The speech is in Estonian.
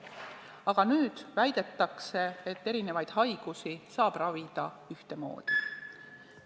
Aga nüüd väidetakse, et erinevaid haigusi saab ravida ühtemoodi.